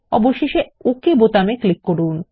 অবশেষে ওকে বাটনে ক্লিক করুন